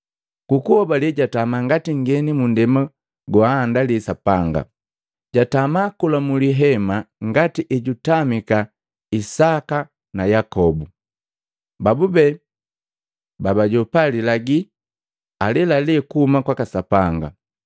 Ku kuhobale jatama ngati nngeni mu nndema go anndagila Sapanga. Jatama kola mu lihema ngati ejutamika Isaka na Yakobu, babube babajopa lilagi alelalela kuhuma kwaka Sapanga.